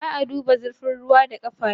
Ba a duba zurfin ruwa da ƙafa biyu.